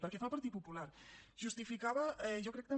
pel que fa al partit popular justificava jo crec també